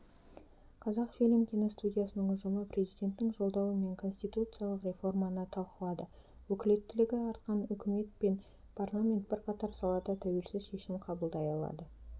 қазақфильм киностудиясының ұжымы президенттің жолдауы мен конституциялық реформаны талқылады өкілеттілігі артқан үкімет пен парламент бірқатар салада тәуелсіз шешім қабылдай алады